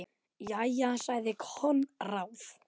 Jæja, sagði Konráð.